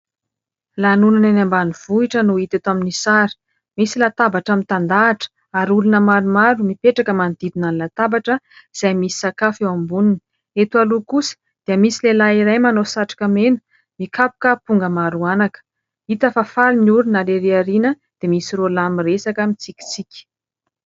Lanonana any ambanivohitra no hita eto amin'ny sary . Misy latabatra mitahan-tandahatra ary olona maromaro mipetraka manodidina ny latabatra izay misy sakafo eo amboniny . Eto aloha kosa dia misy lehilahy iray manao satroka mena mikapoka amponga maro anaka . Hita fa faly ny olona ary iry ariana iry dia misy roa lahy miresaka mitsikitsiky .